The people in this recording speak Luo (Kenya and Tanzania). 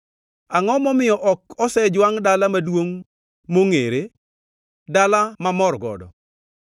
Angʼo momiyo ok osejwangʼ dala maduongʼ mongʼere; dala mamor godo?